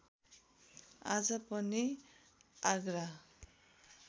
आज पनि आगरा